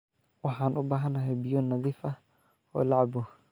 Waxaan u baahanahay biyo nadiif ah oo la cabbo.